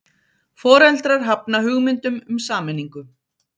Foreldrar hafna hugmyndum um sameiningu